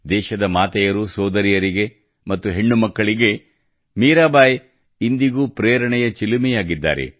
ದೇಶದ ಮಾತೆಯರುಸೋದರಿಯರಿಗೆ ಮತ್ತು ಹೆಣ್ಣು ಮಕ್ಕಳಿಗೆ ಮೀರಾಬಾಯಿ ಇಂದಿಗೂ ಪ್ರೇರಣೆಯ ಚಿಲುಮೆಯಾಗಿದ್ದಾರೆ